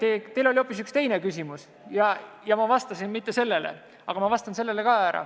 Aga teil oli hoopis üks teine küsimus ja ma vastan nüüd ka sellele.